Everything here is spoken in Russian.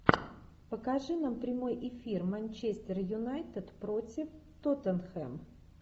покажи нам прямой эфир манчестер юнайтед против тоттенхэм